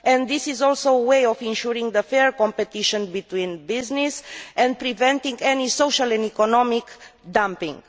This is also a way of ensuring fair competition between businesses and preventing any social and economic dumping.